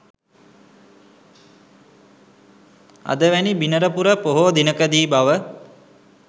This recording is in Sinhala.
අද වැනි බිනරපුර පොහෝ දිනකදී බව